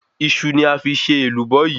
Iṣu ni a fi ṣe Èlùbọ́ yi